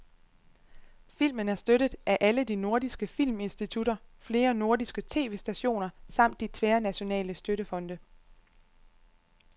Filmen er støttet af alle de nordiske filminstitutter, flere nordiske tv-stationer samt de tværnationale støttefonde.